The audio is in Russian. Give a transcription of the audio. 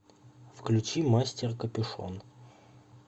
включи мастер капюшон